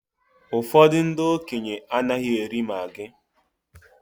Ụfọdụ ndị okenye anaghị eri maggi